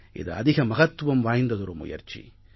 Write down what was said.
இது அதிக மகத்துவம் வாய்ந்ததொரு முயற்சி